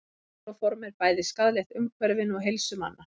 Klóróform er bæði skaðlegt umhverfinu og heilsu manna.